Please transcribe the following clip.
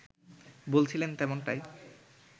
বলছিলেন তেমনটাই